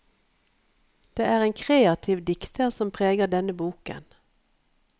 Det er en kreativ dikter som preger denne boken.